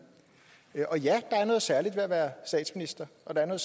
og ja der er noget særligt ved at være statsminister og der er